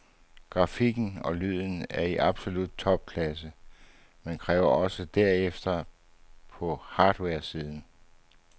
Grafikken og lyden er i absolut topklasse, men kræver også derefter på hardwaresiden.